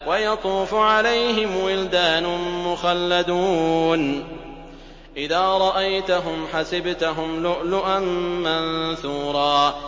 ۞ وَيَطُوفُ عَلَيْهِمْ وِلْدَانٌ مُّخَلَّدُونَ إِذَا رَأَيْتَهُمْ حَسِبْتَهُمْ لُؤْلُؤًا مَّنثُورًا